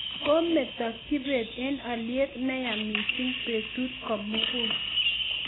Komito kibet eng' alyet ne yaa mising' betut ko mug'ul